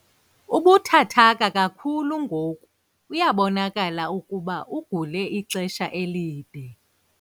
Ubuthathaka kakhulu ngoku uyabonakala ukuba ugule ixesha elide.